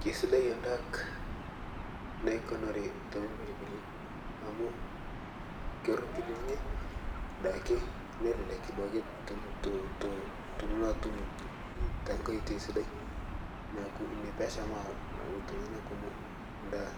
keisidai endaak naikunarii tompirbili amu koropili ninyee duake nelelek duake tonto tunuloo atum tankai oitei sidai naaku inia peeshamaa ltungana kumoo ndaa